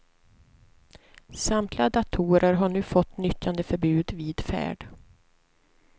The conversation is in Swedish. Samtliga datorer har nu fått nyttjandeförbud vid färd.